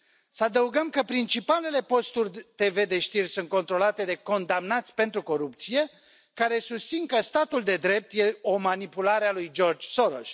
Să adăugăm că principalele posturi TV de știri sunt controlate de condamnați pentru corupție, care susțin că statul de drept este o manipulare a lui George Soros.